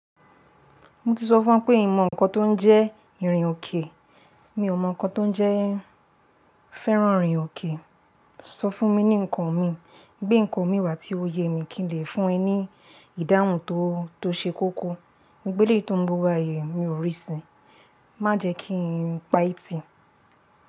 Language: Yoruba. Mo ti sọ fún ẹ pé n mo ǹkan tó ń jẹ́ ìrìn òkè, mi ò mọ ǹkan tó ń jẹ́ fẹ́ràn ìrìn òkè, sọ fún mi ní ǹkan mi, gbé ǹkan mi wá tí ó ye mi kí n lè fún ẹ ní ìdáhùn tó, tó ṣe kókó. Mo gbé ilé tó ń gbe wa yii mi ò rí sin, má jẹ kí n pa e Ìtì.